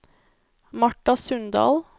Marta Sundal